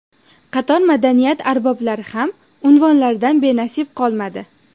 Qator madaniyat arboblari ham unvonlardan benasib qolmadi .